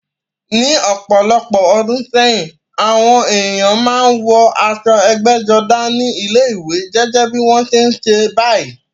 Ní ọ̀pọ̀lọpọ̀ ọdún sẹ́yìn, àwọn ènìyàn máa ń wọ aṣọ ẹgbẹ́jọdá ní ilé-ìwé, gẹ́gẹ́ bí wọ́n ṣe ń ṣe báyìí.